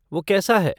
वो कैसा है?